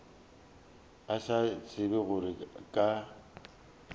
a sa tsebe gore ka